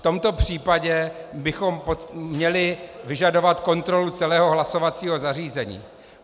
V tomto případě bychom měli vyžadovat kontrolu celého hlasovacího zařízení.